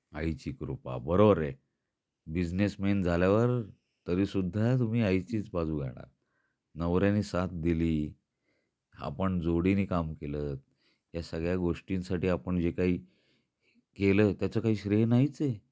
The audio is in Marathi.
आईची कृपा बरोबर आहे, बिझनेस मॅन झाल्यावर तरी सुद्धा तुम्ही आईचीच बाजू घेणार नवऱ्याने साथ दिली, आपण जोडीनी काम केल या सगळ्या गोष्टींसाठी आपण जे काही केल त्याच काही श्रेय नाहीच आहे.